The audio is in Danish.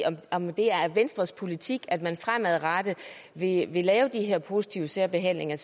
om det er venstres politik at man fremadrettet vil lave positiv særbehandling af